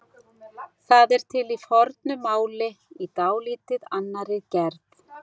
Það er til í fornu máli í dálítið annarri gerð.